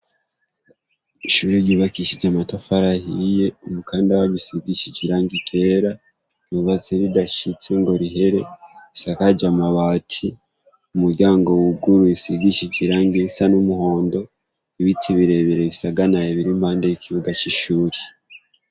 Ishure ryubakishije amatafari ahiye, umukandara usigishije irangi ryera. Ryubatse ridashitse ngo rihere. Risakaje amabati. Umuryango wuguruye usigishije irangi risa n'umuhondo, ibiti birebire bisaganaye biri impande y'kibuga c'ishure.